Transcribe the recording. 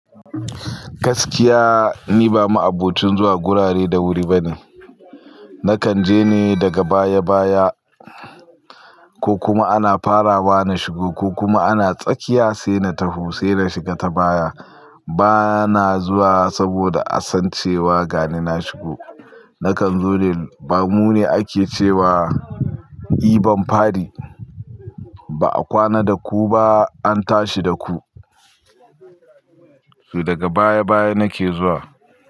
Gaskiya ni ba ma abocin zuwa gurare da wuri bane. Nakan je ne daga baya-baya, ko kuma ana farawa na shigo ko kuma ana tsakiya sai na tawo sai na shiga ta baya. Bana zuwa saboda a san cewa ga ni na shigo. Nakan zo ne, ba mu ne ake cewa "I bamfadi", ba a kwana da ku ba, an tashi da ku. Su daga baya baya nake zuwa.